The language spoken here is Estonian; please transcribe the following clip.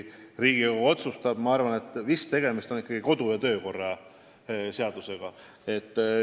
Tegemist on vist ikka kodu- ja töökorra seadusega.